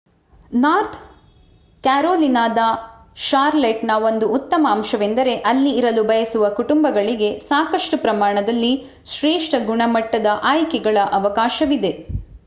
north ಕ್ಯಾರೋಲಿನಾದ ಷಾರ್ಲೆಟ್‌ನ ಒಂದು ಉತ್ತಮ ಅಂಶವೆಂದರೆ ಅಲ್ಲಿ ಇರಲು ಬಯಸುವ ಕುಟುಂಬಗಳಿಗೆ ಸಾಕಷ್ಟು ಪ್ರಮಾಣದಲ್ಲಿ ಶ್ರೇಷ್ಠ ಗುಣಮಟ್ಟದ ಆಯ್ಕೆಗಳ ಅವಕಾಶವಿದೆ